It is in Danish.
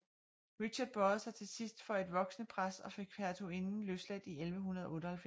Richard bøjede sig til sidst for et voksende pres og fik hertuginden løsladt i 1198